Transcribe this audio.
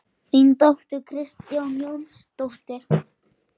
Þín dóttir, Kristín Jórunn.